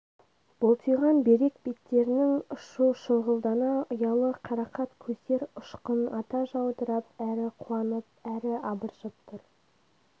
бұлтиған бүйрек беттерінің ұшы шұңғылдана ұялы қарақат көздер ұшқын ата жаудырап әрі қуанып әрі абыржып тұр